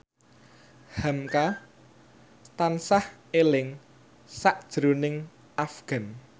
hamka tansah eling sakjroning Afgan